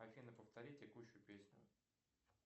афина повтори текущую песню